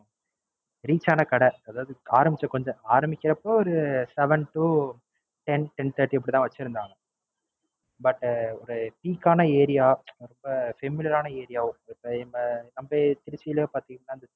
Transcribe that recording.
Reach ஆன கடை அதாவது ஆரம்பிச்ச கொஞ்ச ஆரம்பிக்குறப்ப ஒரு seven to ten ten thirty இப்படிதான் வச்சு இருந்தாங்க. But ஒரு Peak ஆன Area அப்படிங்குறப்ப Familiar ஆன Area திருச்சிலேயே பாத்தீங்கனா